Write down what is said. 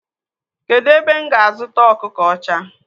Kedụ ebe m ga a zụta ọkụkọ ọcha?